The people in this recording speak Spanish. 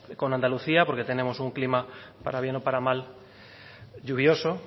con andalucía porque tenemos un clima para bien o para mal lluvioso